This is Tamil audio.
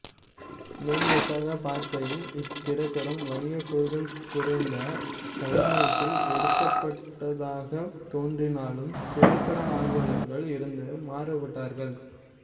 மேம்போக்காக பார்க்கையில் இத்திரைப்படம் வணிகக் கூறுகள் குறைந்து கலைநோக்கில் எடுக்கப்பட்டதாகத் தோன்றினாலும் திரைப்பட ஆர்வலர்கள் இருந்து மாறுபட்டார்கள்